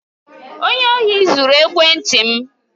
Onye ohi zuru ekwenti m.